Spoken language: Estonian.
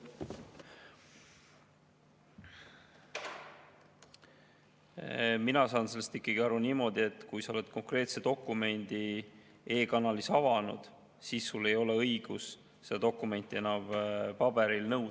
Mina saan sellest aru niimoodi, et kui sa oled konkreetse dokumendi e-kanalis avanud, siis sul ei ole õigust seda dokumenti enam paberil nõuda.